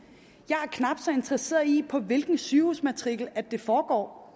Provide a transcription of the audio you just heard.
jeg er knap så interesseret i hvilken sygehusmatrikel det foregår